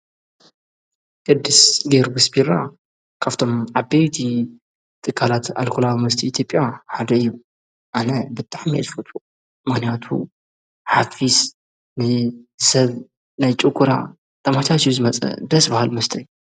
ቅድስ ጊዮርጊስ ቢራ ካብቶም ዓበይቲ ጥካላት ኣልኮላ ሙስቲ ኢቲጵያ ሓደ ዩ ኣነ ብጥሕ መያልፈቱ ማንያቱ ሓፊስ ንሰብ ናይ ጭጕራ ተማሻ ስዩ ዝመጸ ደስ በሃል መስተ እዩ።